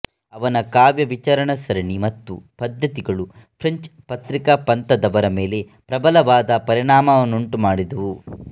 ಅವನ ಕಾವ್ಯ ವಿಚಾರಸರಣಿ ಮತ್ತು ಪದ್ಧತಿಗಳು ಫ್ರೆಂಚ್ ಪ್ರತೀಕಪಂಥದವರ ಮೇಲೆ ಪ್ರಬಲವಾದ ಪರಿಣಾಮವನ್ನುಂಟುಮಾಡಿದುವು